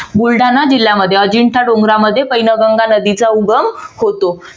बुलढाणा जिल्ह्या मध्ये अजिंठा डोंगरामध्ये पैनगंगा नदीचा उगम होतो.